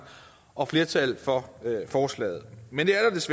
og flertal for forslaget men det